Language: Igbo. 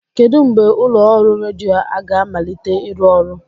Kedụ mgbe ụlọ ọrụ redio a ga-amalite ịrụ ọrụ?